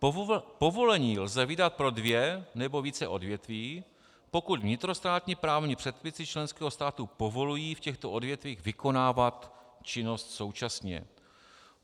Povolení lze vydat pro dvě nebo více odvětví, pokud vnitrostátní právní předpisy členského státu povolují v těchto odvětvích vykonávat činnosti současně.